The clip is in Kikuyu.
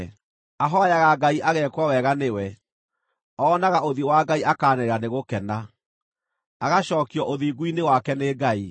Ahooyaga Ngai ageekwo wega nĩwe, oonaga ũthiũ wa Ngai akaanĩrĩra nĩ gũkena; agacookio ũthingu-inĩ wake nĩ Ngai.